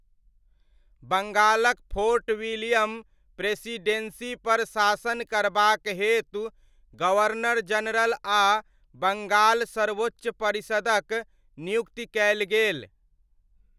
बङ्गालक Fort William प्रेसीडेन्सीपर शासन करबाक हेतु गवर्नर जनरल आ बङ्गाल सर्वोच्च परिषदक नियुक्ति कयल गेल।